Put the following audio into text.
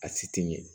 A si ti ɲɛ